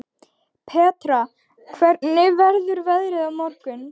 Petra, hvernig verður veðrið á morgun?